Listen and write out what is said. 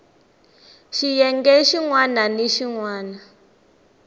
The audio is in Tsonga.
xiyenge xin wana ni xin